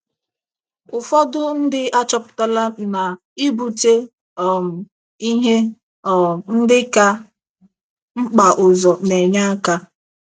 Ụfọdụ ndị achọpụtala na ibute um ihe um ndị ka mkpa ụzọ na - enye aka.